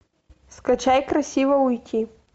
скачай красиво уйти